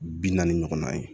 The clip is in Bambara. Bi naani ɲɔgɔnna ye